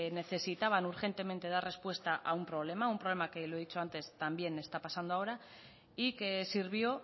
necesitaban urgentemente dar respuesta a un problema a un problema que lo he dicho antes también está pasando ahora y que sirvió